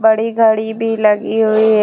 बडी घड़ी भी लगी हुई है।